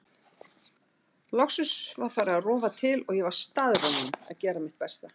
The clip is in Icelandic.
Loksins var farið að rofa til og ég var staðráðin í að gera mitt besta.